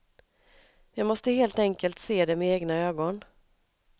Jag måste helt enkelt se det med egna ögon.